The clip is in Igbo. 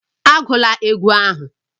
Egwula egwu ahụ!